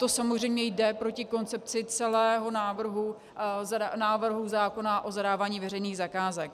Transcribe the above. To samozřejmě jde proti koncepci celého návrhu zákona o zadávání veřejných zakázek.